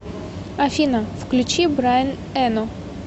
афина включи брайн эно